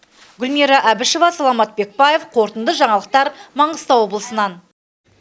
гүлмира әбішева саламат бекбаев қорытынды жаңалықтар маңғыстау облысынан